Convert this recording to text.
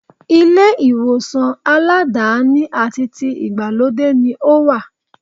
Ilé ìwòsàn aládàáni àti ti ìgbàlódé ni ó wà.